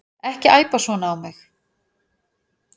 Ekki æpa svona á mig.